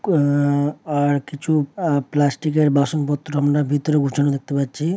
আহ আর কিছু আহ প্লাস্টিকের বাসনপত্র আমরা ভেতরে দেখতে পাচ্ছি।